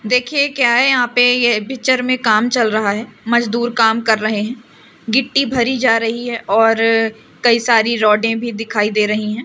देखिए क्या है यहां पे यह पिक्चर में काम चल रहा है मजदूर काम कर रहे हैं गिट्टी भरी जा रही है और कई सारी रॉडे भी दिखाई दे रही हैं।